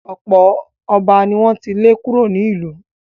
ọ̀pọ̀ ọba ni wọ́n ti lé kúrò nílùú.